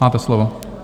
Máte slovo.